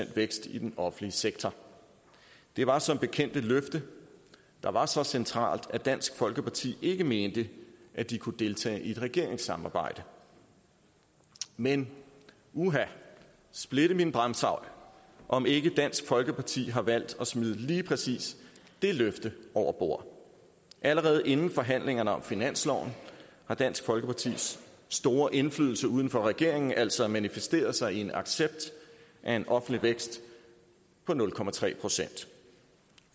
vækst i den offentlige sektor det var som bekendt et løfte der var så centralt at dansk folkeparti ikke mente at de kunne deltage i et regeringssamarbejde men uha splitte mine bramsejl om ikke dansk folkeparti har valgt at smide lige præcis det løfte over bord allerede inden forhandlingerne om finansloven har dansk folkepartis store indflydelse uden for regeringen altså manifesteret sig i en accept af en offentlig vækst på nul procent